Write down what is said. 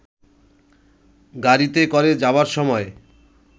গাড়ীতে করে যাবার সময়